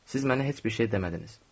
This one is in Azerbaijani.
Siz mənə heç bir şey demədiniz.